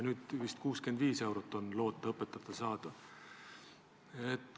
Nüüd on vist õpetajatel loota 65 eurot.